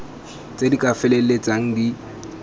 tse di ka feleltsang di